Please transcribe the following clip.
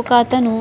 ఒక అతను